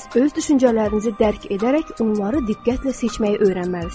Siz öz düşüncələrinizi dərk edərək onları diqqətlə seçməyi öyrənməlisiniz.